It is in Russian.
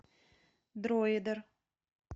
дроидер